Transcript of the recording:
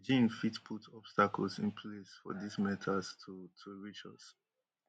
beijing fit put obstacles in place for dis metals to to reach us